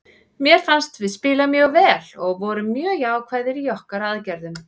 Mér fannst við spila mjög vel og vorum mjög jákvæðir í okkar aðgerðum.